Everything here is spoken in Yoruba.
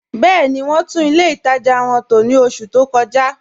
Bẹẹ̀ni, wọn tún ilẹ̀ ìtaja wọn tó ní ọṣù tó kọ̀ja